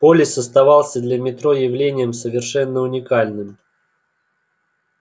полис оставался для метро явлением совершенно уникальным